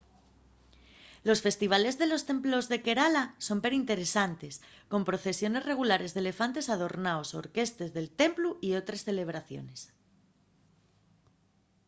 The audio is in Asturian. los festivales de los templos de kerala son perinteresantes con procesiones regulares d'elefantes adornaos orquestes del templu y otres celebraciones